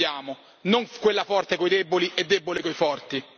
Questa è l'Unione che vogliamo, non quella forte con i deboli e debole con i forti.